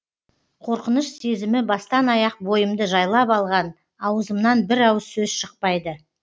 қорқыныш сезімі бастан аяқ бойымды жайлап алған ауызымнан бір ауыз сөз шықпайды